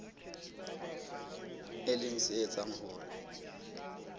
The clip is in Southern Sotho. e leng se etsang hore